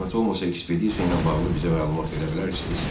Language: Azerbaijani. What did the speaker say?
Zəhmət olmasa ekspedisiya ilə bağlı bizə məlumat verə bilərsiniz?